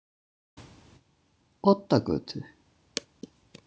Oddagötu